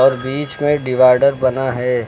और बीच में डिवाइडर बना है